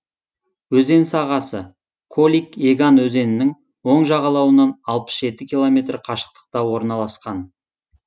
өзен сағасы колик еган өзенінің оң жағалауынан алпыс жеті километр қашықтықта орналасқан